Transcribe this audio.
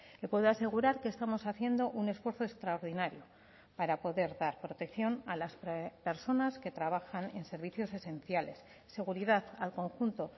le puedo asegurar que estamos haciendo un esfuerzo extraordinario para poder dar protección a las personas que trabajan en servicios esenciales seguridad al conjunto